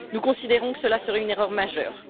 Nous considérons que cela serait une erreur majeure.